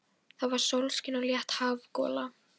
Það var sólskin og létt hafgola.